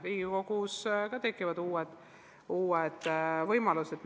Riigikogus ka tekivad uued võimalused.